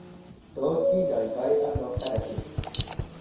Tos kinyaitaiano CADASIL?